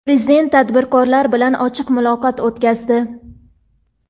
Prezident tadbirkorlar bilan ochiq muloqot o‘tkazdi.